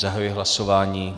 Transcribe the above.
Zahajuji hlasování.